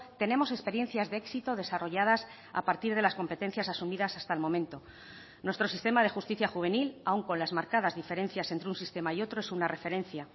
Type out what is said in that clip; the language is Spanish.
tenemos experiencias de éxito desarrolladas a partir de las competencias asumidas hasta el momento nuestro sistema de justicia juvenil aun con las marcadas diferencias entre un sistema y otro es una referencia